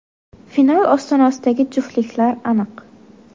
Final ostonasidagi juftliklar aniq.